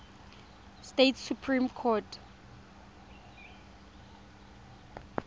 states supreme court